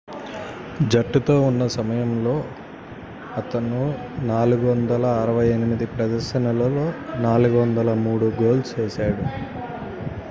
జట్టుతో ఉన్న సమయంలో అతను 468 ప్రదర్శనలలో 403 గోల్స్ చేశాడు